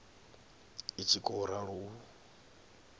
i tshi khou ralo u